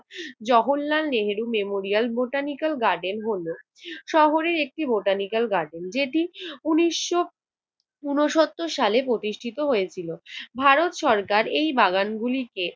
Jawaharlal Nehru memorial, botanical garden হল শহরের একটি বোটানিক্যাল গার্ডেন। যেটি উনিশ ঊনসত্তর সালে প্রতিষ্ঠিত হয়েছিল। ভারত সরকার এই বাগানগুলিকে